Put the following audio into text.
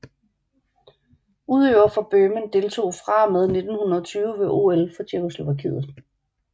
Udøvere fra Bøhmen deltog fra og med 1920 ved OL for Tjekkoslovakiet